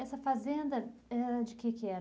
Essa fazenda era de que que era?